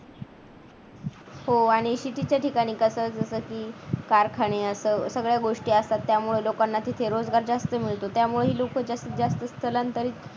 आणि शेतीच्या ठिकाणी कसं कसं असतं की उखाणे असं सगळ्या गोष्टी असतात त्यामुळे लोकांना तिथे रोज रोजगार जास्त मिळतो त्यामुळे लोक जास्तीत जास्त स्थलांतरित